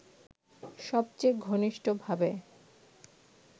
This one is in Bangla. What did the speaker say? সবচেয়ে ঘনিষ্ঠভাবে